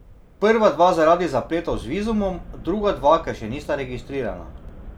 Prva dva zaradi zapletov z vizumom, druga dva, ker še nista registrirana.